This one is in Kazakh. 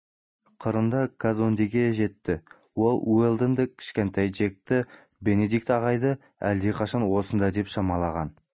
қырында казондеге де жетті ол уэлдонды кішкентай джекті бенедикт ағайды әлдеқашан осында деп шамалаған